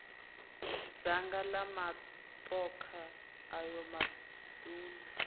dzanga la matokha ayo maduna